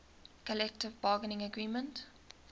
collective bargaining agreement